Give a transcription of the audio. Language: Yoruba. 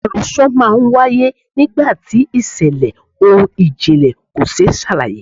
Àròsọ máa ń w'áyé ni ìgbà tí ìṣẹ̀lẹ̀ ohun ìjìnlẹ̀ kò ṣe é ṣàlàyé.